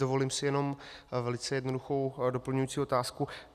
Dovolím si jenom velice jednoduchou doplňující otázku.